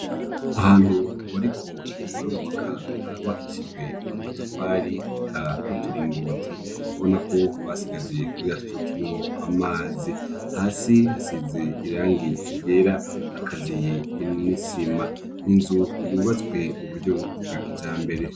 Ahantu bariko barubaka, harubakishijwe amatafari n'uturingoti ubona ko basigaje kugira tuze ducemwo amazi, hasi hasize irangi ryera, hakaziye n'isima, n'inzu yubatswe mu buryo bwa kijambere.